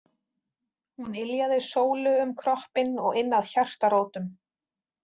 Hún yljaði Sólu um kroppinn og inn að hjartarótum.